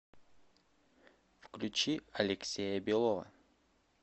включи алексея белова